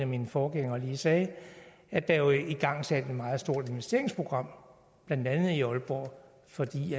mine forgængere lige sagde at der jo er igangsat et meget stort investeringsprogram blandt andet i aalborg fordi